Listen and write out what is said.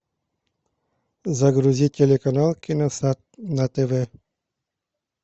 загрузи телеканал киносад на тв